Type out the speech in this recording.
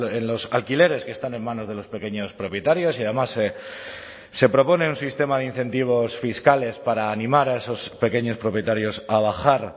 en los alquileres que están en manos de los pequeños propietarios y además se propone un sistema de incentivos fiscales para animar a esos pequeños propietarios a bajar